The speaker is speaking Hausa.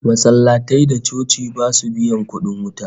Masallatai da coci basu biyan kudin wuta